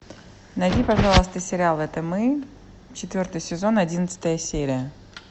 найди пожалуйста сериал это мы четвертый сезон одиннадцатая серия